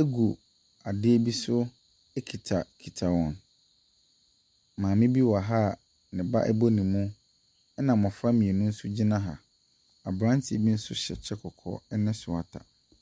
egu adeɛ bi so ekitakita wɔn. Maame bi wɔ ha a ne ba bɔ ne mu. Na mmofra mmienu nso gyina ha. Abranteɛ bi nso hyɛ kyɛ kɔkɔɔ ne swata.